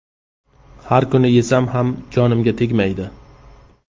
Har kun yesam ham jonimga tegmaydi.